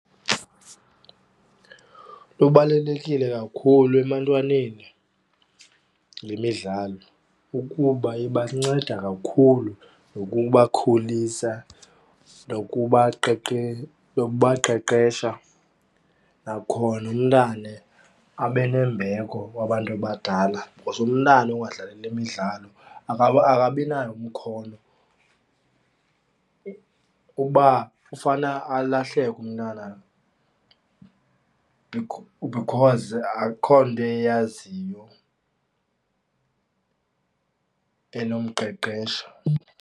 Lubalulekile kakhulu ebantwaneni le midlalo ukuba ibanceda kakhulu ngokubakhulisa nokubaqeqesha, nakhona umntana abe nembeko kubantu abadala. Because umntana ongadlali le midlalo akabi nayo umkhono uba ufana alahleke umntana because akho nto eyaziyo enomqeqesha.